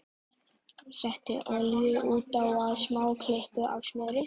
Settu olíu út á og smá klípu af smjöri.